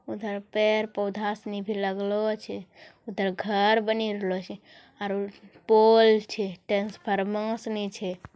उधर पेड़-पौधा सनी भी लगलो छै उधर घर बने रहलो छै आरो पोल छै ट्रांसफार्मर सनी छै।